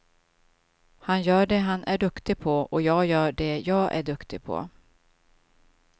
Han gör det han är duktig på, och jag gör det jag är duktig på.